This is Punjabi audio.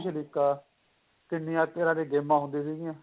ਛ ਲਿਕਾ ਕਿੰਨੀਆਂ ਤਰ੍ਹਾਂ ਦੀਆਂ ਗੇਮਾ ਹੁੰਦੀਆਂ ਸੀਗੀਆਂ